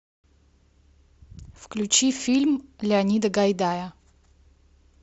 включи фильм леонида гайдая